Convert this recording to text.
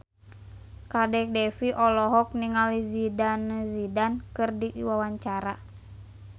Kadek Devi olohok ningali Zidane Zidane keur diwawancara